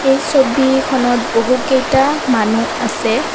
এই ছবিখনত বহু কেইটা মানুহ আছে।